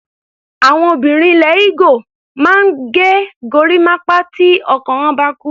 Àwọn obìnrin ilẹ̀ Igbo máa ń ge gorímápá tí ọkọ wọ́n bá kú.